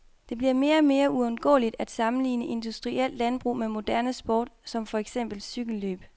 Det bliver mere og mere uundgåeligt at sammenligne industrielt landbrug med moderne sport, for eksempel cykellløb.